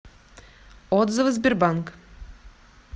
отзывы сбербанк